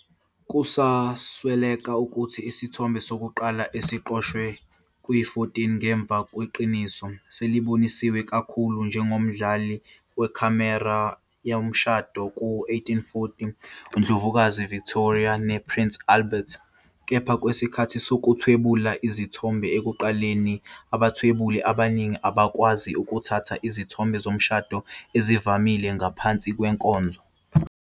Kuzosweleka ukuthi isithombe sokuqala esiqoshwe kwi-14 ngemuva kweqiniso, seliboniswa kakhulu njengomdlali wekhamera yomshado ka-1840 uNdlovukazi Victoria nePrince Albert. Kepha kwesikhathi sokuthwebula izithombe ekuqaleni, abathwebuli abaningi abakwazi ukuthatha izithombe zomshado ezivamile ngaphansi kwenkonzo.